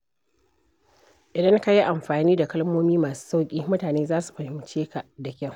Idan ka yi amfani da kalmomi masu sauƙi, mutane za su fahimce ka da kyau.